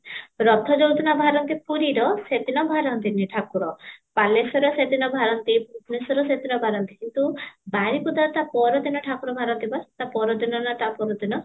ରଥ ଯୋଉ ଦିନ ବାହାରନ୍ତି ପୁରୀର ସେଇଦିନ ଵାହନ୍ତିନି ଠାକୁର ବାଲେଶ୍ୱର ରେ ସେ ଦିନ ବାହାରନ୍ତି, ଭୁବନେଶ୍ୱରର ସେଦିନ ବାହାରନ୍ତି କିନ୍ତୁ ବାରିପଦା ତା ପର ଦିନ ବାହାରନ୍ତି ପା, ତା ପର ଦିନ କି ତା ପର ଦିନ